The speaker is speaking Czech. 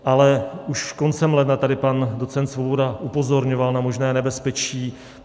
Ale už koncem ledna tady pan docent Svoboda upozorňoval na možné nebezpečí.